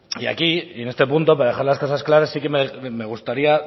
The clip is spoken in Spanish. y aquí en este punto para dejar las cosas claras sí que me gustaría